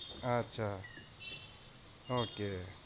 আচ্ছা okay